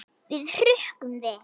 Við hrukkum við.